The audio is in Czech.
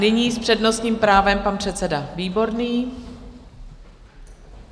Nyní s přednostním právem pan předseda Výborný.